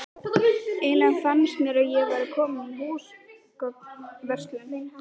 Eiginlega fannst mér ég vera komin í húsgagnaverslun.